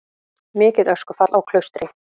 Mikið öskufall á Klaustri